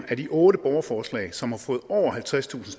af de otte borgerforslag som har fået over halvtredstusind